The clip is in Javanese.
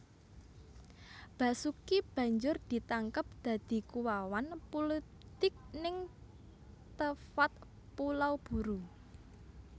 Basuki banjur ditangkep dadi kuwawan pulitik ning Tefaat Pulau Buru